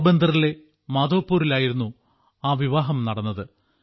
പോർബന്തറിലെ മാധവ്പുരിലായിരുന്നു ആ വിവാഹം നടന്നത്